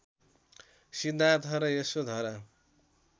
सिद्धार्थ र यशोधरा